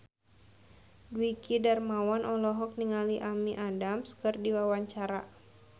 Dwiki Darmawan olohok ningali Amy Adams keur diwawancara